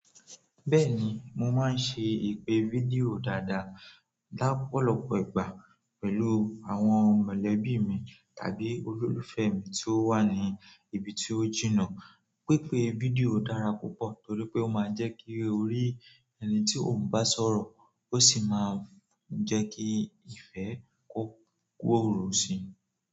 Bẹ́ẹ̀ ni, mo máa ń ṣe ìpè fídíò dáadáa, lọ́pọ̀lọpọ̀ ìgbà pẹ̀lú àwọn mọ̀lẹ́bí mi tàbí olólùfẹ́ mi tí ó wà ní ibi tí ó jìnnà. Pípè fídíò dára púpọ̀, torí pé ó máa ń jẹ́ kí o rí ẹni tí o ń bá sọ̀rọ̀, ó sì máa ń jẹ́ kí ìfẹ́ má bàa kú, òrò sì máa ń wà.